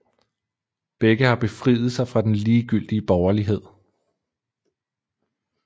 Begge har befriet sig fra den ligegyldige borgerlighed